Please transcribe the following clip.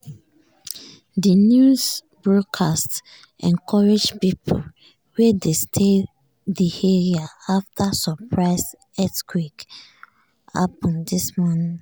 di news broadcast encourage people wey dey stay di area after um surprise earthquake happen this morning.